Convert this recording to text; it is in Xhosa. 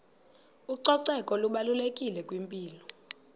ucoceko lubalulekile kwimpilo